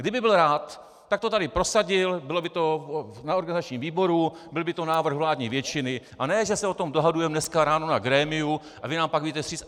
Kdyby byl rád, tak to tady prosadil, bylo by to na organizačním výboru, byl by to návrh vládní většiny, a ne že se o tom dohadujeme dneska ráno na grémiu a vy nám pak vyjdete vstříc.